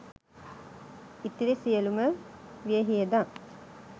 ඉතිරි සියලුම වියහියදම්